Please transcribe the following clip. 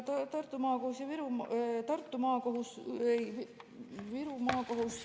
Tartu Maakohus ja Viru Maakohus.